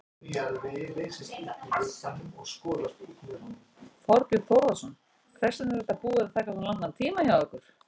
Þorbjörn Þórðarson: Hvers vegna er þetta búið að taka svona langan tíma hjá ykkur?